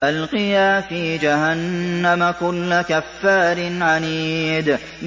أَلْقِيَا فِي جَهَنَّمَ كُلَّ كَفَّارٍ عَنِيدٍ